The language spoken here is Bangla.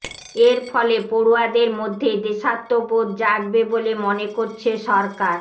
এর ফলে পড়ুয়াদের মধ্যে দেশাত্মবোধ জাগবে বলে মনে করছে সরকার